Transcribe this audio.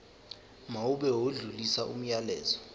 mawube odlulisa umyalezo